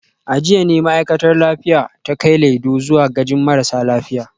A jiya ne ma’aikatar lafiya ta kai Laido zuwa gajin marasa lafiya